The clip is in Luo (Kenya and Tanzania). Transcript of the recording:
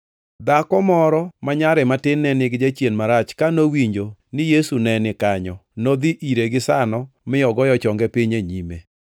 Dhako moro ma nyare matin ne nigi jachien marach ka nowinjo ni Yesu kanyo nodhi ire gisano mi ogoyo chonge piny e nyime.